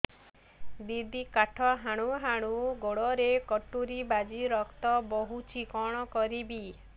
ଦିଦି କାଠ ହାଣୁ ହାଣୁ ଗୋଡରେ କଟୁରୀ ବାଜି ରକ୍ତ ବୋହୁଛି କଣ କରିବି